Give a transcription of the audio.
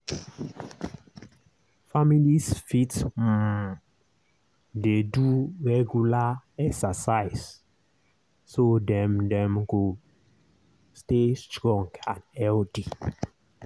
families fit um dey do regular exercise so dem dem go stay strong and healthy.